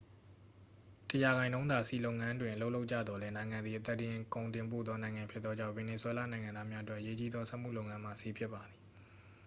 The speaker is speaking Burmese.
တစ်ရာခိုင်နှုန်းသာ ဆီလုပ်ငန်းတွင် အလုပ်လုပ်ကြသော်လည်း နိုင်ငံသည် အသားတင် ကုန်တင်ပို့သော နိုင်ငံဖြစ်သောကြောင့် ဗင်နီဇွဲလားနိုင်ငံသားများအတွက် အရေးကြီးသော စက်မှုလုပ်ငန်းမှာ ဆီဖြစ်ပါသည်